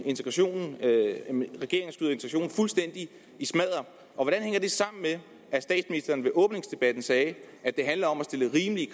integrationen fuldstændig i smadder hvordan hænger det sammen med at statsministeren ved åbningsdebatten sagde at det handler om at stille rimelige